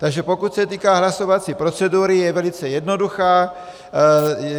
Takže pokud se týká hlasovací procedury, je velice jednoduchá.